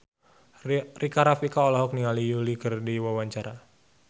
Rika Rafika olohok ningali Yui keur diwawancara